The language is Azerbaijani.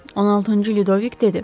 16-cı Lüdovik dedi.